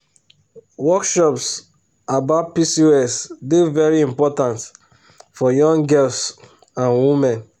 workshops about pcos dey very important for young girls and women.